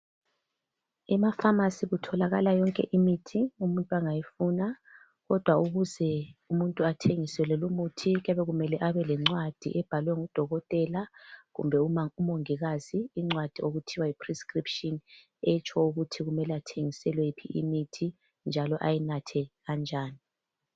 Ema pharmacy kutholakala yonke imithi umuntu angayifuna kodwa ukuze umuntu athengiselwe lumuthi kuyabe kumele Abe lencwadi ebhalwe ngudokotela kumbe umongikazi incwadi okuthiwa yi prescription etsho ukuthi abantu kumele bathengiselwe iphi imithi njalo ayinathe kanjani.